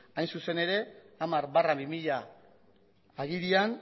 hain zuzen ere hamar barra bi mila agirian